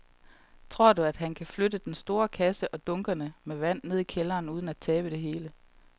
Tror du, at han kan flytte den store kasse og dunkene med vand ned i kælderen uden at tabe det hele?